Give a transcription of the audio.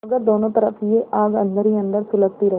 मगर दोनों तरफ यह आग अन्दर ही अन्दर सुलगती रही